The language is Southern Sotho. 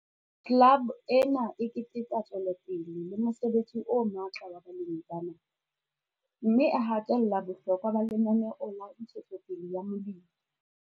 Club ena e keteka tswelopele le mosebetsi o matla wa balemi bana, mme e hatella bohlokwa ba Lenaneo la Ntshetsopele ya Molemi.